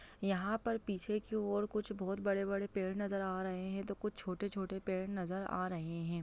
यहाँ पर पीछे की और कुछ बड़े बड़े पेड़ नज़र आ रहे है तो कुछ छोटे छोटे नज़र आ रहे है।